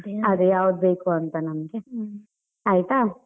ಅದೆ ಯಾವುದ್ ಬೇಕುಂತ ನಮ್ಗೆ, ಆಯ್ತಾ.